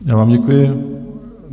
Já vám děkuji.